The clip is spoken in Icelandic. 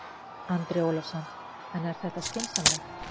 Andri Ólafsson: En er þetta skynsamlegt?